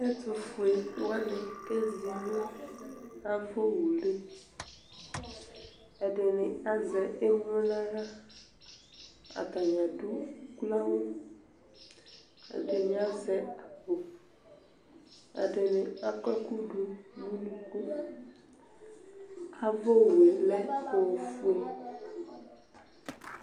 Ɛtufue wani kezi nu ava wueli ɛdini azɛ emlo naɣla atani adu uklo ayu awu ɛdini azɛ akpo ɛdini akɔ ɛku du nu unuku ava owu lɛ ofue